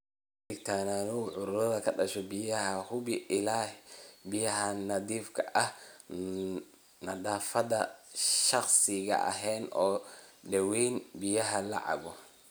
Ka digtoonow cudurrada ka dhasha biyaha, hubi ilaha biyaha nadiifka ah, nadaafadda shakhsi ahaaneed, oo daweeyaan biyaha la cabbo.